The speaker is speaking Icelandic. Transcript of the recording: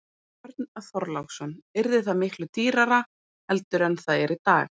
Björn Þorláksson: Yrði það miklu dýrara heldur en það er í dag?